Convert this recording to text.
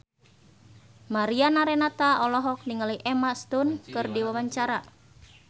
Mariana Renata olohok ningali Emma Stone keur diwawancara